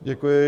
Děkuji.